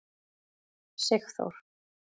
Sigþór